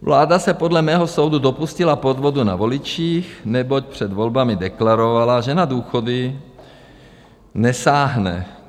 Vláda se podle mého soudu dopustila podvodu na voličích, neboť před volbami deklarovala, že na důchody nesáhne.